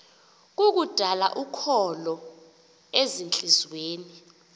kukudala ukholo ezintliziyweni